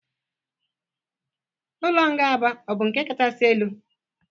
Ụlọ nga Aba ọ bụ nke kachasị elu?